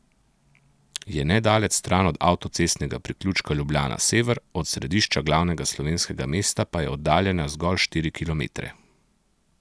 Je nedaleč stran od avtocestnega priključka Ljubljana sever, od središča glavnega slovenskega mesta pa je oddaljena zgolj štiri kilometre.